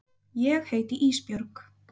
Ég heiti Ísbjörg.